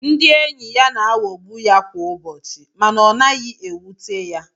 Ndị enyị ya na-aghogbú ya kwá ụbọchị mànà ọ naghị éwúté ya